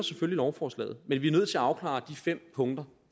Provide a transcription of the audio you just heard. lovforslaget men vi er nødt til at afklare de fem punkter